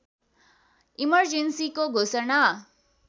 इमर्जेन्‍सीको घोषणा